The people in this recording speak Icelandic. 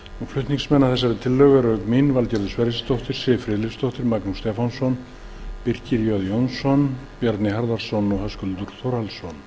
flutningsmenn að tillögunni eru auk mín valgerður sverrisdóttir siv friðleifsdóttir magnús stefánsson birkir j jónsson bjarni harðarson